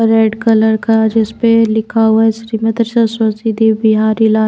red colour का जिस पे लिखा हुआ है श्रीमती सरस्वती देव बिहारी ला --